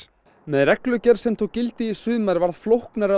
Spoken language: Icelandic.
með reglugerð sem tók gildi í sumar varð flóknara